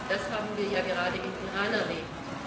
Das haben wir ja gerade im Iran erlebt.